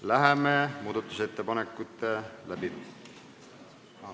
Läheme muudatusettepanekute läbivaatamise ...